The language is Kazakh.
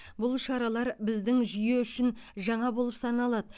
бұл шаралар біздің жүйе үшін жаңа болып саналады